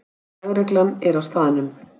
Lögreglan er á staðnum